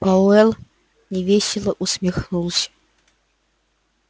пауэлл невесело усмехнулся